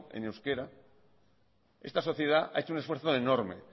en euskera esta sociedad ha hecho un esfuerzo enorme